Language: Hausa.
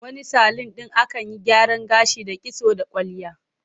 Wani salun ɗin akan yi gyaran gashi da kitso da kwalliya.